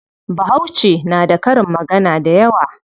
Bahauce na da karin magana dayawa.